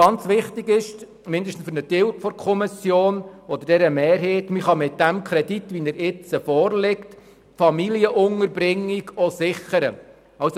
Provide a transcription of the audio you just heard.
Sehr wichtig für mindestens einen Teil der Kommission respektive für die Kommissionsmehrheit ist, dass man mit dem jetzt vorliegenden Kredit auch die Familienunterbringung sichern kann.